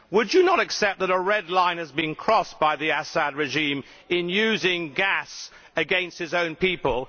Would you not accept that a red line has been crossed by the Assad regime in using gas against its own people?